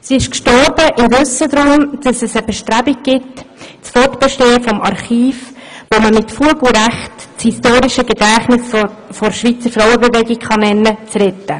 Sie ist im Wissen darum gestorben, dass es Bestrebungen gibt, das Fortbestehen des Archivs, das man mit Fug und Recht das historische Gedächtnis der Schweizer Frauenbewegung nennen kann, zu retten.